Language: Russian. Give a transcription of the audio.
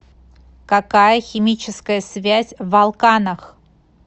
какая химическая связь в алканах